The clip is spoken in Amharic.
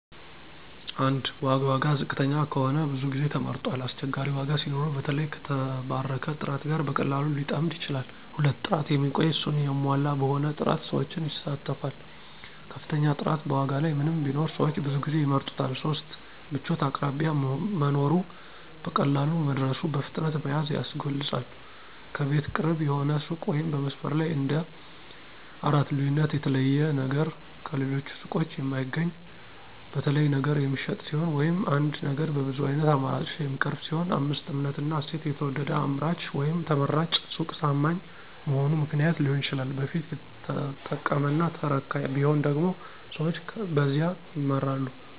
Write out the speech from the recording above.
1. ዋጋ ዋጋ ዝቅተኛ ከሆነ ብዙ ጊዜ ተመርጧል አስቸጋሪ ዋጋ ሲኖረው በተለይ ከተባረከ ጥራት ጋር በቀላሉ ሊጠምድ ይችላል 2. ጥራት የሚቆይ፣ እሱን ያሟላ በሆነ ጥራት ሰዎችን ይሳተፋል ከፍተኛ ጥራት በዋጋ ላይ ምንም ቢኖር ሰዎች ብዙ ጊዜ ይምረጡታል 3. ምቾት አቅራቢያ መኖሩ፣ በቀላሉ መድረሱ፣ በፍጥነት መያዝ ያስገልጿል ከቤት ቅርብ የሆነ ሱቅ ወይም በመስመር ላይ እንደ 4. ልዩነት የተለየ ነገር ከሌሎች ሱቆች የማይገኝ፣ በተለይ ነገር የሚሸጥ ሲሆን ወይም አንድ ነገር በብዙ ዓይነት አማራጮች የሚቀርብ ሲሆን 5. እምነትና እሴት የተወደደ አምራች ወይም ተመራጭ ሱቅ ታማኝ መሆኑ ምክንያት ሊሆን ይችላል በፊት ተጠቀመና ተረካ ቢሆን ደግሞ ሰዎች በዚያ ይመራሉ